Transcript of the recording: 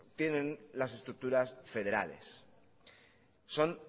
tienen las estructuras federales son